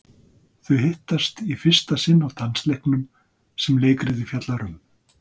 Þau hittast í fyrsta sinn á dansleiknum sem leikritið fjallar um.